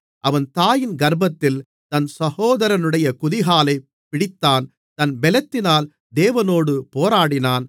அவன் தாயின் கர்ப்பத்தில் தன் சகோதரனுடைய குதிகாலைப் பிடித்தான் தன் பெலத்தினால் தேவனோடே போராடினான்